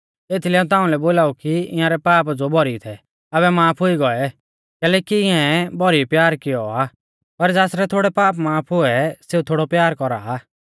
एथीलै हाऊं ताउंलै बोलाऊ की इंयारै पाप ज़ो भौरी थै आबै माफ हुई गौऐ कैलैकि इयांऐ भौरी प्यार कियौ आ पर ज़ासरै थोड़ै पाप माफ हुऐ सेऊ थोड़ौ प्यार कौरा आ